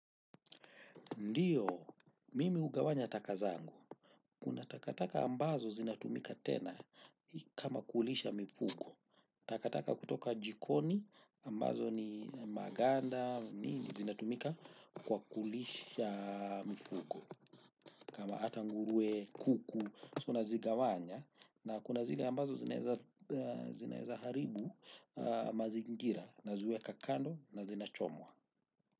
Ndio, mimi hugawanya taka zangu. Kuna takataka ambazo zinatumika tena kama kulisha mifugo. Takataka kutoka jikoni ambazo ni maganda nini zinatumika kwa kulisha mifugo kama hata ngurue, kuku, sa nazigawanya. Na kuna zile ambazo zinaeza haribu mazingira naziweka kando na zinachomwa.